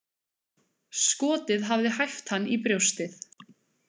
Skotið hafði hæft hann í brjóstið.